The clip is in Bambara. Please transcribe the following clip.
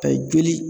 Ka ye joli